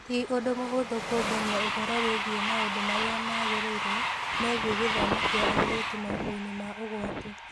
Ti ũndũ mũhũthũ kũũngania ũhoro wĩgiĩ maũndũ marĩa magĩrĩire megiĩ gĩthomo kĩa airĩtu maũndũ-inĩ ma ũgwati.